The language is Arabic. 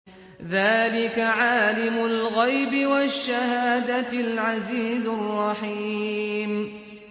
ذَٰلِكَ عَالِمُ الْغَيْبِ وَالشَّهَادَةِ الْعَزِيزُ الرَّحِيمُ